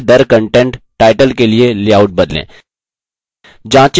contentदरcontent title के लिए layout बदलें